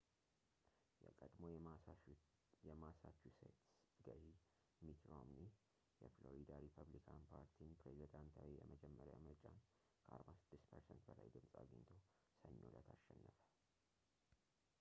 የቀድሞው የማሳቹሴትስ ገዢ ሚት ሮምኒ የፍሎሪዳ ሪፐብሊካን ፓርቲን ፕሬዝዳንታዊ የመጀመሪያ ምርጫን ከ46 ፐርሰንት በላይ ድምፅ አግኝቶ ሰኞ እለት አሸነፈ